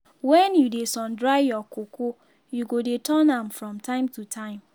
wen you dey sun dry your cocoa you go dey turn am from time to time.